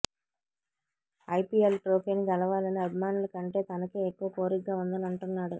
IPL ట్రోఫీని గెలవాలని అభిమానుల కంటే తనకే ఎక్కువ కోరికగా ఉందని అంటున్నాడు